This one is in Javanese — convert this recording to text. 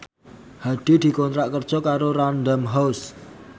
Hadi dikontrak kerja karo Random House